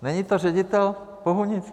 Není to ředitel Bohunic?